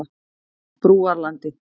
Brúarlandi